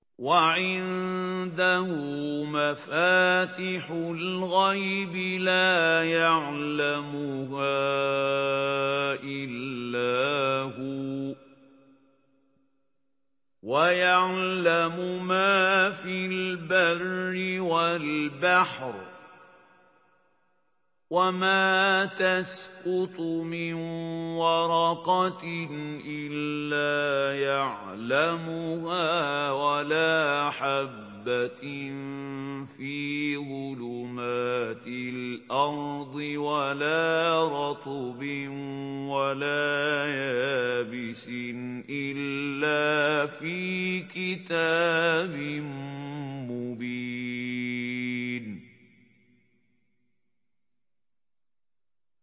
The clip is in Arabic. ۞ وَعِندَهُ مَفَاتِحُ الْغَيْبِ لَا يَعْلَمُهَا إِلَّا هُوَ ۚ وَيَعْلَمُ مَا فِي الْبَرِّ وَالْبَحْرِ ۚ وَمَا تَسْقُطُ مِن وَرَقَةٍ إِلَّا يَعْلَمُهَا وَلَا حَبَّةٍ فِي ظُلُمَاتِ الْأَرْضِ وَلَا رَطْبٍ وَلَا يَابِسٍ إِلَّا فِي كِتَابٍ مُّبِينٍ